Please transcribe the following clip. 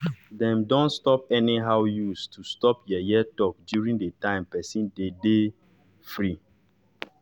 dem don stop anyhow use to stop yeye talk during d time person be de free